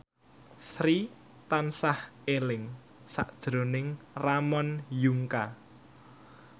Sri tansah eling sakjroning Ramon Yungka